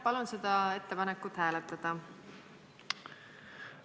Palun seda ettepanekut hääletada!